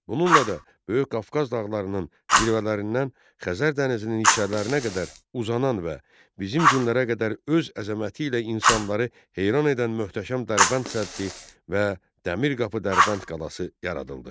Bununla da Böyük Qafqaz dağlarının zirvələrindən Xəzər dənizinin içərilərinə qədər uzanan və bizim günlərə qədər öz əzəməti ilə insanları heyran edən möhtəşəm Dərbənd səddi və Dəmir qapı Dərbənd qalası yaradıldı.